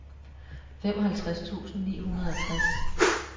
femoghalvtreds tusind ni hundrede og tres